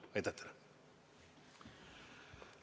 Aitäh teile!